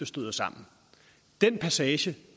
støder sammen den passage